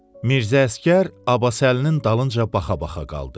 Mirzə Əsgər Abbasəlinin dalınca baxa-baxa qaldı.